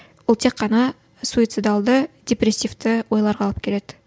ол тек қана суицидалды депрессивті ойларға алып келеді